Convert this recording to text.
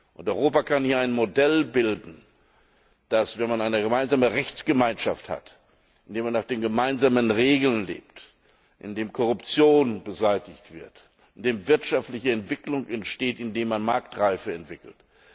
Und Europa kann hier ein Modell bilden, wenn man eine gemeinsame Rechtsgemeinschaft hat, indem man nach den gemeinsamen Regeln lebt, indem Korruption beseitigt wird, indem wirtschaftliche Entwicklung entsteht, indem man Marktreife entwickelt.